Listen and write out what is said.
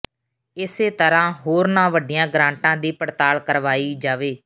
ਇਸੇ ਤਰ੍ਹਾਂ ਹੋਰਨਾਂ ਵੱਡੀਆਂ ਗ੍ਰਾਂਟਾਂ ਦੀ ਪੜਤਾਲ ਕਰਵਾਈ ਜਾਵੇ